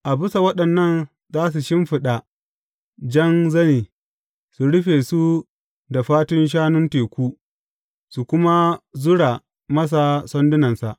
A bisa waɗannan za su shimfiɗa jan zane, su rufe su da fatun shanun teku, su kuma zura masa sandunansa.